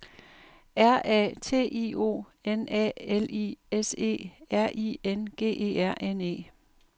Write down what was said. R A T I O N A L I S E R I N G E R N E